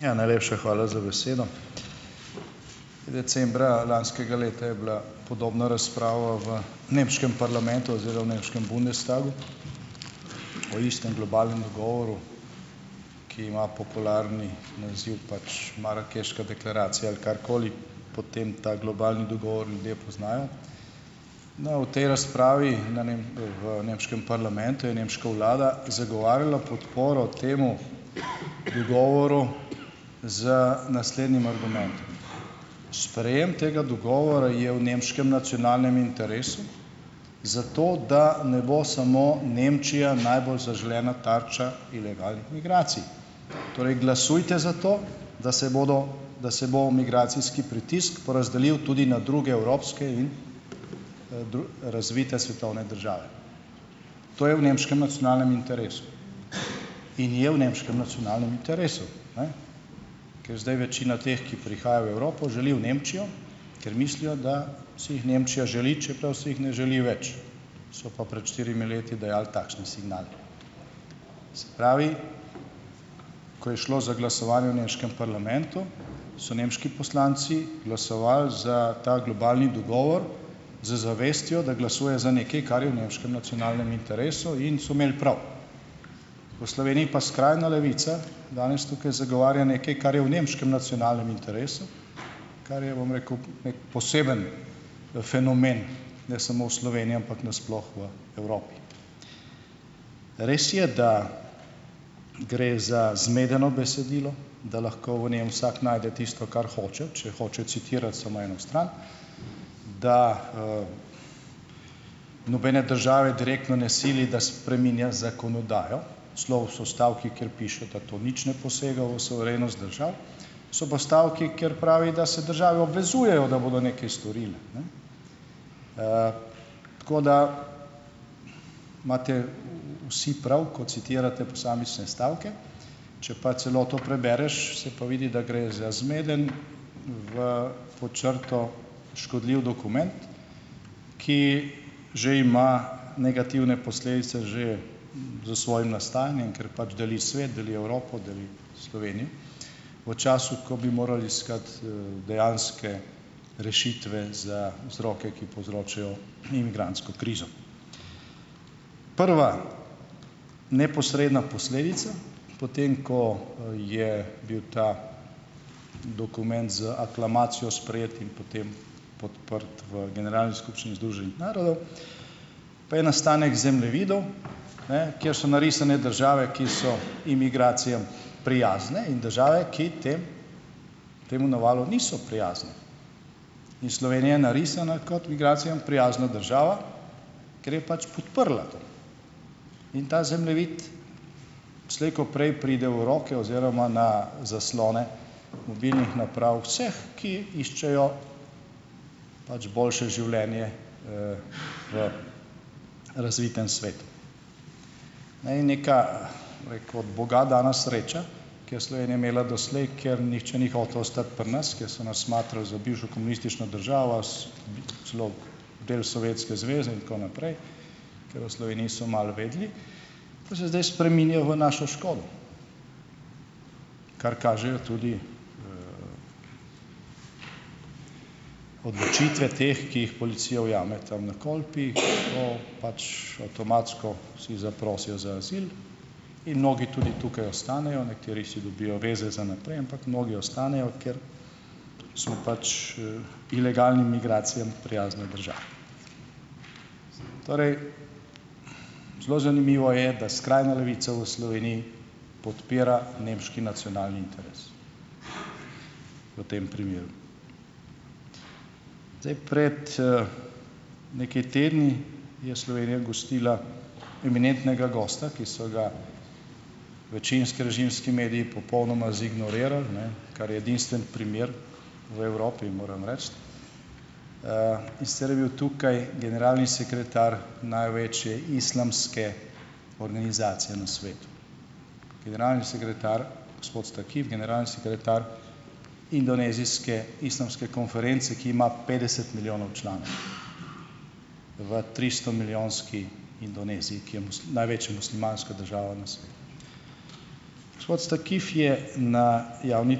Ja, najlepša hvala za besedo. Decembra lanskega leta je bila podobna razprava v nemškem parlamentu oziroma v nemškem bundestagu o istem globalnem dogovoru, ki ima popularni naziv pač marakeška deklaracija ali karkoli, po tem ta globalni dogovor ljudje poznajo. No, v tej razpravi na v nemškem parlamentu je nemška vlada zagovarjala podporo temu dogovoru z naslednjim argumentom: sprejem tega dogovora je v nemškem nacionalnem interesu zato, da ne bo samo Nemčija najbolj zaželena tarča ilegalnih migracij. Torej, glasujte za to, da se bodo da se bo migracijski pritisk porazdelil tudi na druge evropske in, razvite svetovne države. To je v nemškem nacionalnem interesu. In je v nemškem nacionalnem interesu. Ne. Ker zdaj večina teh, ki prihaja v Evropo, želi v Nemčijo, ker mislijo, da se jih Nemčija želi, čeprav si jih ne želi več. So pa pred štirimi leti dajali takšne signale. Se pravi, ko je šlo za glasovanje v nemškem parlamentu, so nemški poslanci glasovali za ta globalni dogovor z zavestjo, da glasujejo za nekaj, kar je v nemškem nacionalnem interesu, in so imeli prav. V Sloveniji pa skrajna levica danes tukaj zagovarja nekaj, kar je v nemškem nacionalnem interesu, kar je, bom rekel, neki poseben fenomen, ne samo v Sloveniji, ampak na sploh v Evropi. Res je, da gre za zmedeno besedilo, da lahko v njem vsak najde tisto, kar hoče, če hočejo citirati samo eno stran, da, nobene države direktno ne sili, da spreminja zakonodajo. Celo so stavki, kjer piše, da to nič ne posega v suverenost držav. So pa stavki, kjer pravi, da se države obvezujejo, da bodo nekaj storile. Ne, tako da imate vsi prav, ko citirate posamične stavke. Če pa celoto prebereš, se pa vidi, da gre za zmeden, v pod črto škodljiv dokument, ki že ima negativne posledice že s svojim nastajanjem, ker pač deli svet, deli Evropo, deli Slovenijo v času, ko bi morali iskati, dejanske rešitve za vzroke, ki povzročajo imigrantsko krizo. Prva neposredna posledica, potem ko, je bil ta dokument z aklamacijo sprejet in potem podprt v Generalni skupščini Združenih narodov, pa je nastanek zemljevidov, ne, kjer so narisane države, ki so imigracijam prijazne, in države, ki temu navalu niso prijazne. In Slovenija je narisana kot migracijam prijazna država, ker je pač podprla to. In ta zemljevid slej ko prej pride v roke oziroma na zaslone mobilnih naprav vseh, ki iščejo pač boljše življenje, v razvitem svetu, ne. In neka, bom rekel, od boga dana sreča, ki jo je Slovenija imela doslej, ker nihče ni hotel ostati pri nas, ker so nas smatrali za bivšo komunistično državo, celo del Sovjetske zveze in tako naprej, ker o Sloveniji so malo vedeli, to se zdaj spreminja v našo škodo, kar kažejo tudi odločitve teh, ki jih policija ujame tam na Kolpi, ko pač, avtomatsko vsi zaprosijo za azil in mnogi tudi tukaj ostanejo. Nekateri si dobijo zveze za naprej, ampak mnogi ostanejo, ker smo pač, ilegalnim migracijam prijazna država. Torej, zelo zanimivo je, da skrajna levica v Sloveniji podpira nemški nacionalni interes v tem primeru. Zdaj, pred, nekaj tedni je Slovenija gostila eminentnega gosta, ki so ga večinski režimski mediji popolnoma zignorirali, ne, kar je edinstven primer v Evropi, moram reči. in sicer je bil tukaj generalni sekretar največje islamske organizacije na svetu. Generalni sekretar gospod Stakif, generalni sekretar indonezijske islamske konference, ki ima petdeset milijonov članov v tristomilijonski Indoneziji, ki je največja muslimanska država na svetu. Gospod Stakif je na javni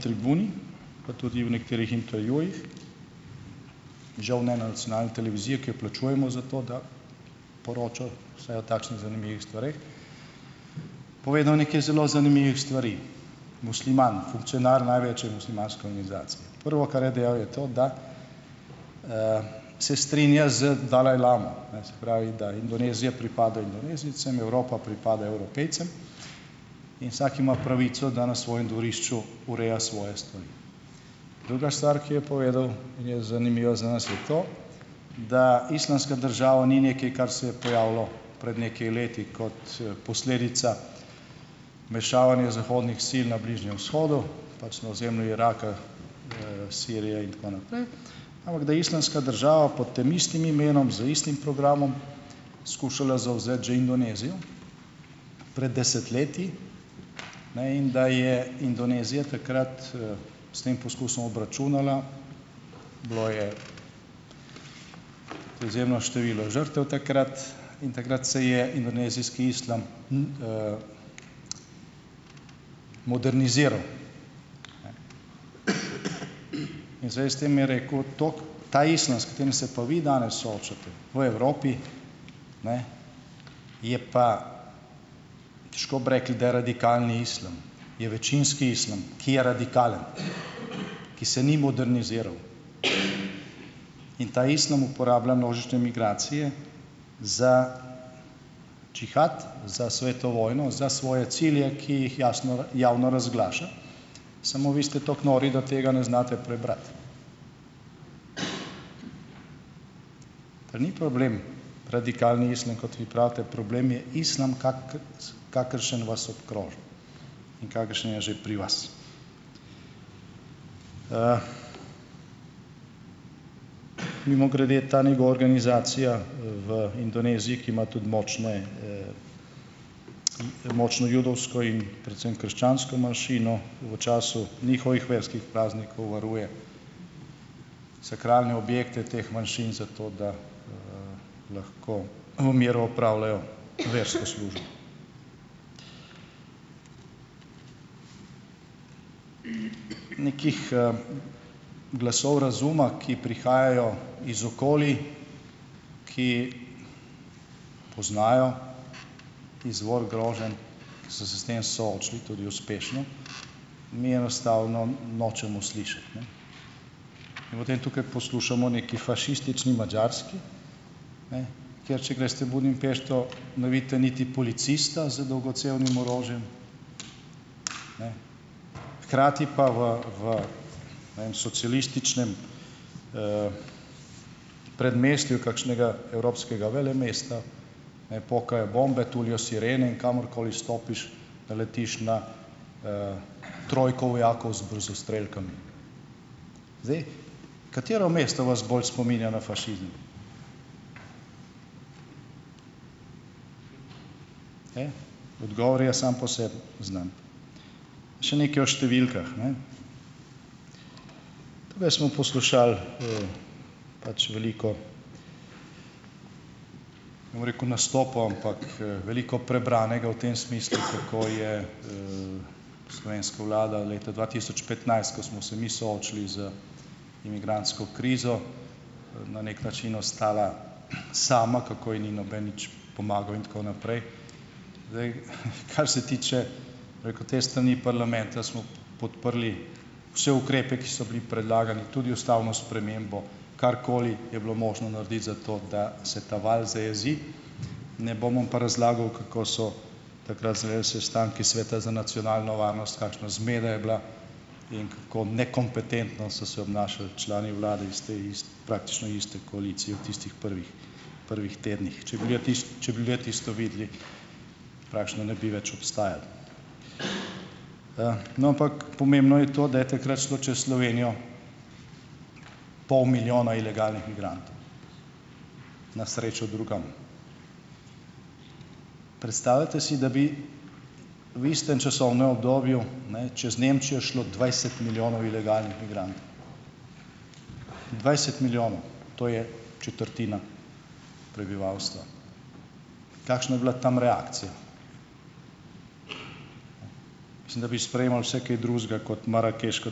tribuni pa tudi v nekaterih intervjujih, žal ne na nacionalni televiziji, ki jo plačujemo zato, da poroča vsaj o takšnih zanimivih stvareh, povedal nekaj zelo zanimivih stvari. Musliman, funkcionar največje muslimanske organizacije. Prvo, kar je dejal, je to, da, se strinja z dalajlamo, ne, se pravi, da Indonezija pripada Indonezijcem, Evropa pripada Evropejcem, in vsak ima pravico, da na svojem dvorišču ureja svoje stvari. Druga stvar, ki jo je povedal in je zanimiva za nas je to, da Islamska država ni nekaj, kar se je pojavilo pred nekaj leti kot, posledica vmešavanja zahodnih sil na Bližnjem vzhodu, pač na ozemlju Iraka, Sirije in tako naprej, ampak da je Islamska država pod tem istim imenom, z istim programom skušala zavzeti že Indonezijo pred desetletji, ne, in da je Indonezija takrat, s tem poskusom obračunala. Bilo je izjemno število žrtev takrat in takrat se je indonezijski islam moderniziral, ne. In zdaj s tem je rekel ... Ta islam, s katerim se pa vi danes soočate v Evropi, ne, je pa, težko bi rekli, da je radikalni islam, je večinski islam, ki je radikalen, ki se ni moderniziral, in ta islam uporablja množične migracije za džihad, za svetu vojno, za svoje cilje, ki jih jasno javno razglaša, samo vi ste tako nori, da tega ne znate prebrati. Pa ni problem radikalni islam, kot vi pravite, problem je islam, kakršen vas obkroža in kakršen je že pri vas. Mimogrede, ta njegova organizacija v Indoneziji, ki ima tudi močne, močno judovsko in predvsem krščansko manjšino, v času njihovih verskih praznikov varuje sakralne objekte teh manjšin, zato da, lahko v miru opravljajo versko službo. Nekih, glasov razuma, ki prihajajo iz okolij, ki poznajo izvor groženj, ki so se s tem soočili, tudi uspešno, mi enostavno nočemo slišati, ne, in potem tukaj poslušamo o neki fašistični Madžarski, ne, kjer če greste v Budimpešto ne vidite niti policista z dolgocevnim orožjem, ne, hkrati pa v, v ne vem socialističnem, predmestju kakšnega evropskega velemesta ne pokajo bombe, tulijo sirene, in kamorkoli stopiš naletiš na, trojko vojakov z brzostrelkami. Zdaj, katero mesto vas bolj spominja na fašizem? Odgovor je sam po sebi znan. Še nekaj o številkah, ne, tukaj smo poslušali, pač veliko ne bom rekel nastopov, ampak, veliko prebranega v tem smislu, kako je, slovenska vlada leta dva tisoč petnajst, ko smo se mi soočili z imigrantsko krizo, na neki način ostala sama, kako ji ni noben nič pomagal in tako naprej. Zdaj, kar se tiče, bom rekel, te strani parlamenta, smo podprli vse ukrepe, ki so bili predlagani, tudi ustavno spremembo, karkoli je bilo možno narediti za to, da se ta val zajezi, ne bom vam pa razlagal, kako so takrat izgledali sestanki Sveta za nacionalno varnost, kakšna zmeda je bila in kako nekompetentno so se obnašali člani vlade iz te praktično iste koalicije v tistih prvih, prvih tednih. Če bi če bi ljudje tisto videli, praktično ne bi več obstajali, No, ampak pomembno je to, da je takrat šlo čez Slovenijo pol milijona ilegalnih migrantov. Na srečo drugam. Predstavljajte si, da bi v istem časovnem obdobju, ne, čez Nemčijo šlo dvajset milijonov ilegalnih migrantov, dvajset milijonov to je četrtina prebivalstva. Kakšna je bila tam reakcija? Mislim, da bi sprejemal vse kaj drugega kot marakeško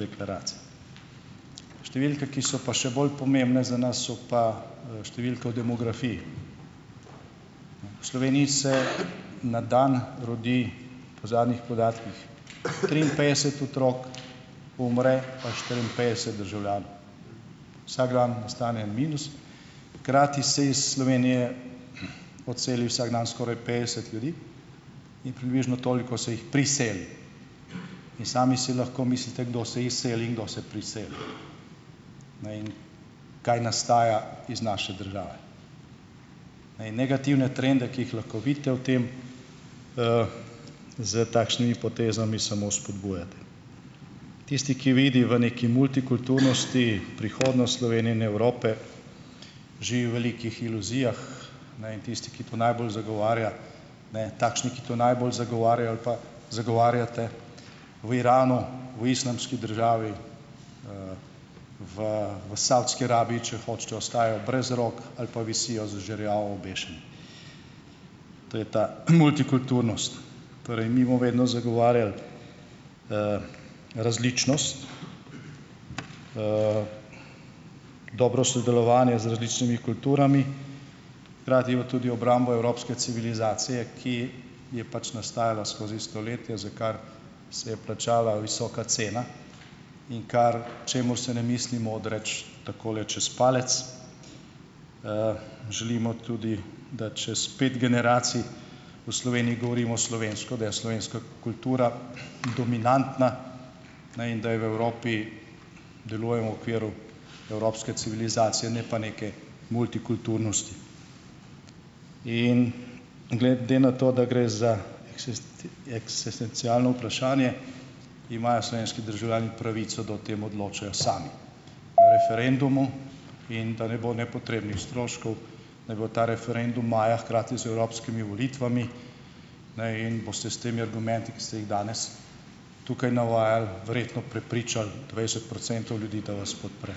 deklaracijo. Številke, ki so pa še bolj pomembne za nas, so pa, številke o demografiji. V Sloveniji se na dan rodi, po zadnjih podatkih trinpetdeset otrok, umre pa štiriinpetdest državljanov, vsak dan nastane en minus, hkrati se iz Slovenije odseli vsak dan skoraj petdeset ljudi, in približno toliko se jih priseli, in sami si lahko mislite, kdo se izseli in kdo se priseli, ne, in kaj nastaja iz naše države. Ne. In negativne trende, ki jih lahko vidite v tem, s takšnimi potezami samo spodbujate. Tisti, ki vidi v neki multikulturnosti prihodnost Slovenije in Evrope, živi v velikih iluzijah, ne, in tisti, ki to najbolj zagovarja, ne, takšni, ki to najbolj zagovarjajo ali pa zagovarjate, v Iranu, v Islamski državi, v, v Savdski Arabiji, če hočete, ostajajo brez rok ali pa visijo z žerjava obešeni. To je ta multikulturnost. Torej, mi bomo vedno zagovarjali, različnost, dobro sodelovanje z različnimi kulturami, hkrati pa tudi obrambo evropske civilizacije, ki je pač nastajala skozi stoletja, za kar se je plačala visoka cena, in kar, čemur se ne mislimo odreči takole čez palec. Želimo tudi, da čez pet generacij, v Sloveniji govorimo slovensko, da je slovenska kultura dominantna, ne, in da v Evropi delujemo v okviru evropske civilizacije, ne pa neke multikulturnosti. In glede na to, da gre za eksestencialno vprašanje, imajo slovenski državljani pravico, da o tem odločajo sami. O referendumu, in da ne bo nepotrebnih stroškov, naj bo ta referendum maja, hkrati z evropskimi volitvami, ne, in boste s temi argumenti, ki ste jih danes tukaj navajali, verjetno prepričal dvajset procentov ljudi, da vas podpre.